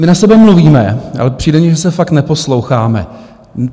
My na sebe mluvíme, ale přijde mi, že se fakt neposloucháme.